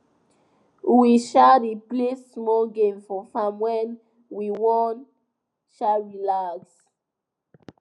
we um dey play small game for farm when we wan um relax